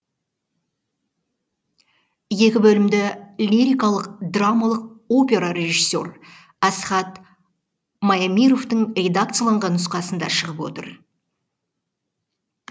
екі бөлімді лирикалық драмалық опера режиссер асхат маемировтың редакцияланған нұсқасында шығып отыр